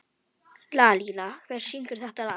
Lalíla, hver syngur þetta lag?